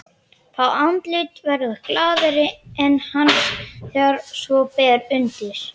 Fá andlit verða glaðari en hans þegar svo ber undir.